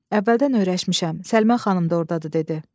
Əvvəldən öyrəşmişəm, Səlimə xanım da ordadır dedi.